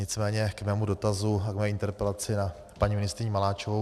Nicméně k mému dotazu a k mé interpelaci na paní ministryni Maláčovou.